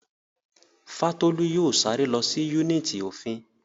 Fátólú yóò sáré lọ sí yúnìtì òfin